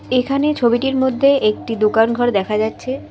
এখানে ছবিটির মধ্যে একটি দোকানঘর দেখা যাচ্ছে।